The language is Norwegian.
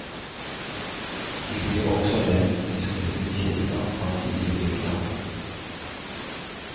De blir også nevnt i skriftlige kilder fra tidlig middelalder.